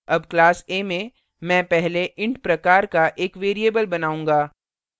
अब class a में मैं पहले int प्रकार का एक variable बनाऊँगा